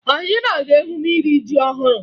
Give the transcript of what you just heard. Anyị na-aga emume iri ji ọhụrụ